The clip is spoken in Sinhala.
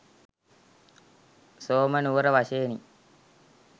සෝම නුවර වශයෙනි.